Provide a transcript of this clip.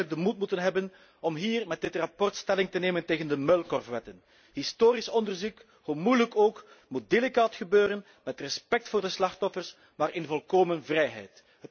We zouden eigenlijk de moed moeten hebben om hier met dit verslag stelling te nemen tegen de muilkorfwetten. Historisch onderzoek, hoe moeilijk ook, moet delicaat gebeuren met respect voor de slachtoffers, maar in volkomen vrijheid.